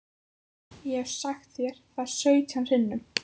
Ég hef sagt þér það sautján sinnum.